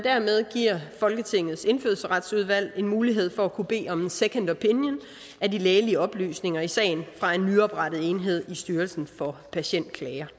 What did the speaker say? folketingets indfødsretsudvalg en mulighed for at kunne bede om en second opinion af de lægelige oplysninger i sagen fra en nyoprettet enhed i styrelsen for patientklager